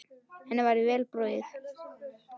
Henni væri vel borgið.